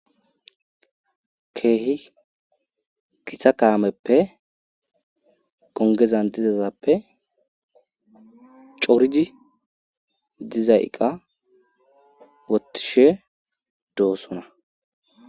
keehi githa kaameppe gongezan dizazappe corii diza iqqa wotishe doossona